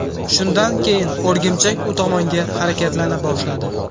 Shundan keyin o‘rgimchak u tomonga harakatlana boshladi.